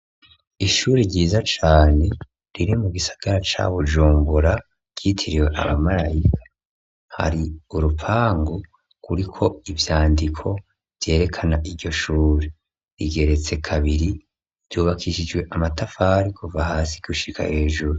Ishuri ryiza cane riri mu gisagara ca Bujumbura ryitiriwe abamarayika, hari urupangu kuriko ivyandiko vyerekana iryo shuri. Rigeretse kabiri ryubakishijwe amatafari kuva hasi gushika hejuru.